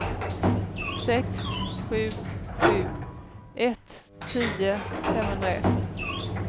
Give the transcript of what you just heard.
sex sju sju ett tio femhundraett